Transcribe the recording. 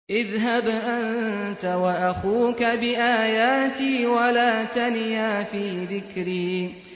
اذْهَبْ أَنتَ وَأَخُوكَ بِآيَاتِي وَلَا تَنِيَا فِي ذِكْرِي